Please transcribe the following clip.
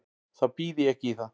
Þá býð ég ekki í það.